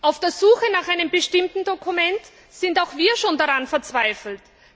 An der Suche nach einem bestimmten Dokument sind auch wir schon fast verzweifelt.